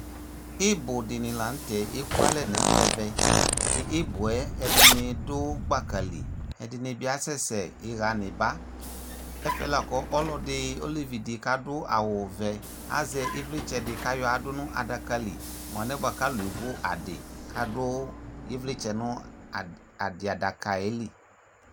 Ɩbʋdɩnɩ la nʋtɛ ekualɛ n'ɛmɛ; tʋ ɩbʋɛ ɛdɩnɩ dʋ gbaka li Ɛdɩnɩ bɩ asɛ sɛ ɩɣa n'ɩba Ɛfɛ la kʋ ɔlɔdɩ olevidɩ k'adʋ awʋvɛ azɛ ɩvlɩtsɛdɩ k'ayɔadʋ nʋ adakabli mʋ alɛnɛ k'alʋ evu adɩ k'adʋ ɩvlɩtsɛ nʋ adɩadaɛ li